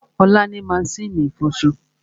Olá ni maṣínì ìfọṣọ